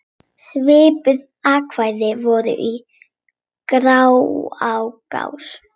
Svipuð ákvæði voru í Grágás.